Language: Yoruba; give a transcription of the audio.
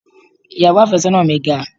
Ìyàwó àfẹ́sọ́nà mi ga.